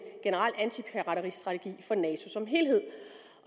generel antipirateristrategi for nato som helhed